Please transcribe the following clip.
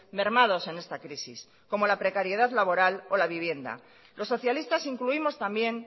mermados en esta crisis como la precariedad laboral o la vivienda los socialistas incluimos también